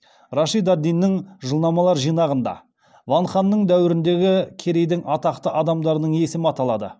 рашид ад диннің жылнамалар жинағында ван ханның дәуіріндегі керейдің атақты адамдарының есімі аталады